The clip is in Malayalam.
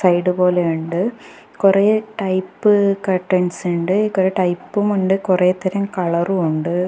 സൈഡ് പോലെ ഒണ്ട് കൊറേ ടൈപ്പ് കർട്ടൻസ് ഉണ്ട് കൊറേ ടൈപ്പും ഒണ്ട് കൊറേതരം കളറും ഒണ്ട്.